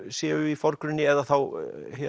séu í forgrunni eða þá